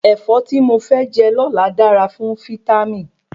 Ẹ̀fọ́ tí mo fẹ jẹ lóla dára fún fítámì